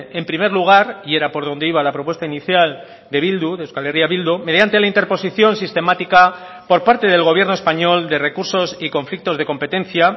en primer lugar y era por donde iba la propuesta inicial de bildu de euskal herria bildu mediante la interposición sistemática por parte del gobierno español de recursos y conflictos de competencia